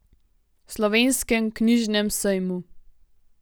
Slovenskem knjižnem sejmu.